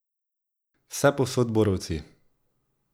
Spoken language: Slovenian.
Vsepovsod borovci.